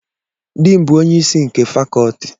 Din bụ onyeisi nke fakọtị